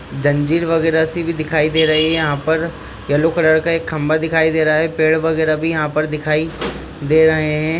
जंजीर वगेराह सी दिखाई दे रही हे यहा पर येलो कलर का एक खंभा दिखाई दे रहा है पेड़ वगेराह भी यहा पर दिखाई दे रहे है।